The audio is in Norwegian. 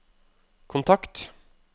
kontakt